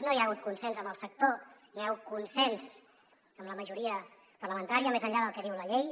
no hi ha hagut consens amb el sector no hi ha hagut consens amb la majoria parlamentària més enllà del que diu la llei